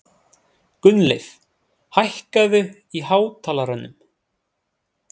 Gunnleif, hækkaðu í hátalaranum.